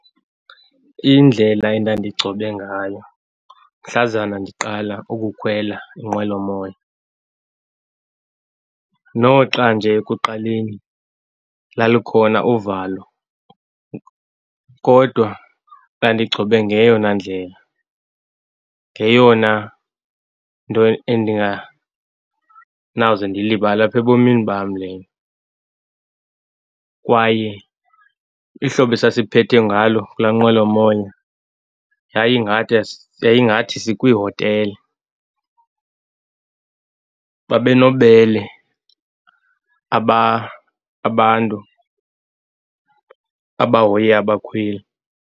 Indlela endandigcobe ngayo mhlazana ndiqala ukukhwela inqwelomoya, noxa nje ekuqaleni lalukhona uvalo, kodwa bandigcobe ngeyona ndlela, ngeyona nto endinganawuze ndiyilibale apha ebomini bam lena, kwaye ihlobo esasiphethwe ngalo kula nqwelomoya, yayi ngathi sikwi hotele, babe nobubele abantu abahoye abakhweli.